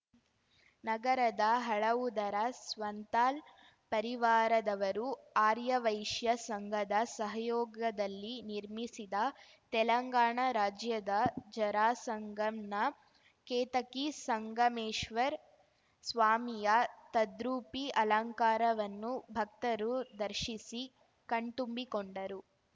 ನಗರದ ಹಳವುದರ ಸ್ವಂತಾಲ್‌ ಪರಿವಾರದವರು ಆರ್ಯವೈಶ್ಯ ಸಂಘದ ಸಹಯೋಗದಲ್ಲಿ ನಿರ್ಮಿಸಿದ ತೆಲಂಗಾಣ ರಾಜ್ಯದ ಜರಾಸಂಗಂನ ಕೇತಕಿ ಸಂಗಮೇಶ್ವರ್ ಸ್ವಾಮಿಯ ತದ್ರೂಪಿ ಅಲಂಕಾರವನ್ನು ಭಕ್ತರು ದರ್ಶಿಸಿ ಕಣ್ತುಂಬಿಕೊಂಡರು